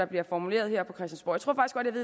bliver formuleret her